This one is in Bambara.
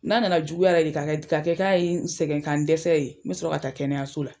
N'a nana juguya yɛrɛ de k'a kɛ k'a kɛ ka ye n sɛgɛ ka n dɛsɛ ye n bɛ sɔrɔ ka taa kɛnɛyaso la.